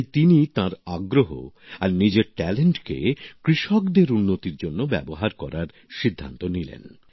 তাই তিনি তাঁর আগ্রহ আর নিজের মেধাকে কৃষকদের উন্নতির জন্য ব্যবহার করার সিদ্ধান্ত নিলেন